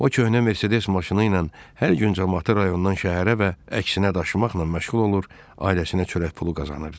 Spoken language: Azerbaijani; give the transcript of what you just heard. O köhnə Mercedes maşını ilə hər gün camaatı rayondan şəhərə və əksinə daşımaqla məşğul olur, ailəsinə çörək pulu qazanırdı.